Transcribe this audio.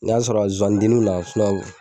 N'a y'a sɔrɔ zozani denni na